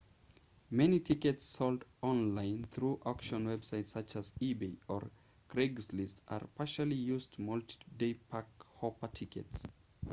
many tickets sold online through auction websites such as ebay or craigslist are partially used multi-day park-hopper tickets